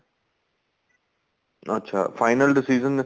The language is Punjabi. ਅੱਛਾ final decision